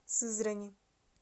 сызрани